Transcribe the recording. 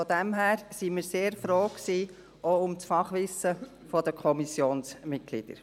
Daher waren wir sehr froh um das Fachwissen der Kommissionsmitglieder.